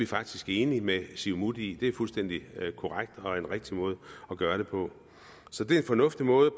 faktisk enige med siumut i det er en fuldstændig korrekt og rigtig måde at gøre det på så det er en fornuftig måde